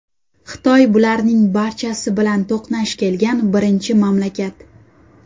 Xitoy bularning barchasi bilan to‘qnash kelgan birinchi mamlakat.